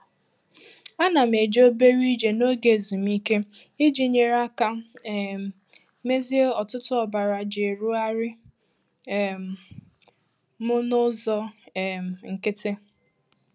Ana m eje obere ije n'oge ezumike iji nyere aka um mezie ọ̀tụ̀tụ̀ ọbara ji erugharị um m n'ụzọ um nkịtị.